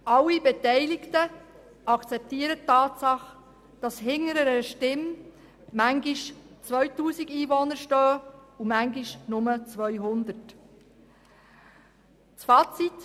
Alle Beteiligten akzeptieren die Tatsache, dass hinter einer Stimme manchmal 2000 Einwohner stehen und manchmal nur 200.